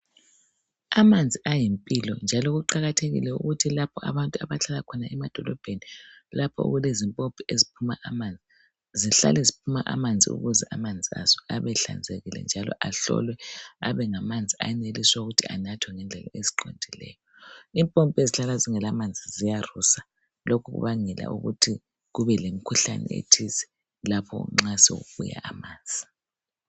Amanzi ayimpilo njalo kuqakathekile ukuthi lapho abantu abahlala khona emadolobheni lapho okulezimpompi eziphuma amanzi zihlale ziphuma amanzi ukuze amanzi azo abe ehlanzekile ahlolwe abengamanzi enelisa ukuthi anathwe ngendlela eziqondileyo impompi ezihlala zingela manzi ziyarusa lokhu kubangela ukuthi kube lemikhuhlane ethize lapho nxa sekubuya amanzi